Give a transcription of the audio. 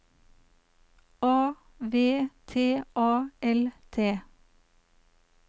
A V T A L T